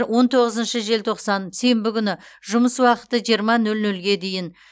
он тоғызыншы желтоқсан сенбі күні жұмыс уақыты жиырма нөл нөлге дейін